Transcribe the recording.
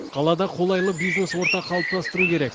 қалада қолайлы бизнес орта қалыптастыру керек